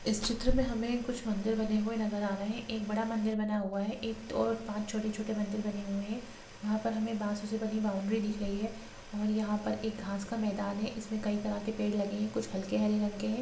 इस चित्र में हमें कुछ मंदिर बने हुए नजर आ रहे। एक बड़ा मंदिर बना हुआ है। एक तो पांच छोटे छोटे मंदिर बने हुए हैं। वहाँ पर हमें बांसों से बनी बाउंड्री दिख रही है और यहाँ पर एक घास का मैदान है। इसमें कई तरह के पेड़ लगे हैं। कुछ हल्के हरे रंग के हैं।